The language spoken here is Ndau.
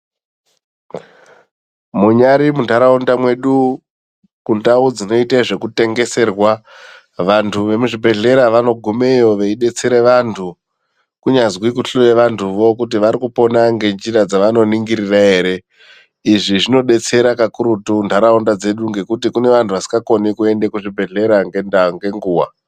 Munyari muntaraunda mwedu, kundau dzinoita zveku tengeserwa vanthu vemuzvi bhedhleya vanogumeyo veidetsere vantu kunyazi kuhloye vanthuvo kuti varikupona ngenjira dzevano ningirira ere izvi zvinodetsera kakurutu ntaraunda dzedu ngekuti kune vanhu vasingakoni kuende kuzvibhedhlera ngenguwa.